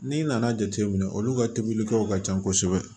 N'i nana jateminɛ olu ka tobilikɛlaw ka ca kosɛbɛ